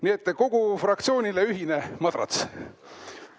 Nii et kogu fraktsioonile ühine madrats.